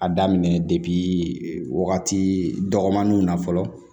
A daminɛ wagati dɔgɔninw na fɔlɔ